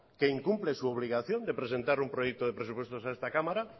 que incumple su obligación de presentar un proyecto de presupuestos en esta cámara